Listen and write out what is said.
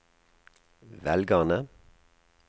velgerne